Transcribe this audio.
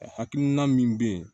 Hakilina min bɛ yen